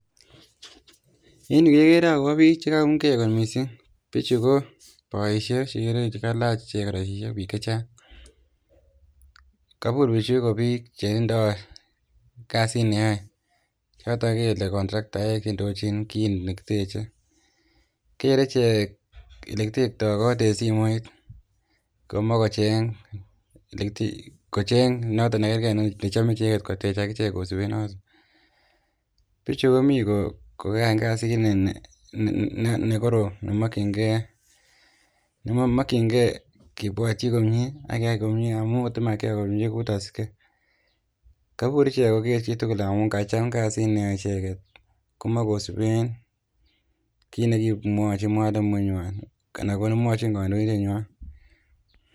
Enyu kekere akobo bik chekakoumgei kot mising bichu ko boisiek cheikere chekelach chechang kabur bichu kou bik chetindoi kasit neoe chotok kele contraktaek indojin kit nekiteche kere ichek ole kitektoi kot eng simoit komach kocheng notok nekerkei nechome ichek kotech akichek kosube notok bichu komi kokakoai kasit ne korom nemokyinkei kibwotchi komie akeai komie amu tamakiai komie kakur ichek kogeer kila mtu amu kacham kasit neoe icheket komach kosuben kiit nekimwachin mwalimutnywan kanekamwachin kandoindetnywan.